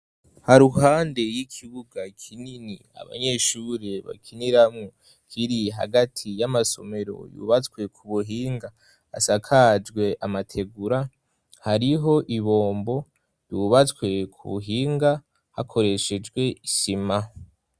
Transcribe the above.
Haruhande y'ikibuga kinini abanyeshure bakiniramwo kiri hagati y'amasomero yubatswe ku buhinga asakajwe amategura hariho ibombo yubatswe ku buhinga hakoreshejwe isima.